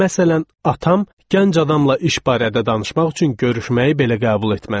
Məsələn, atam gənc adamla iş barədə danışmaq üçün görüşməyi belə qəbul etməzdi.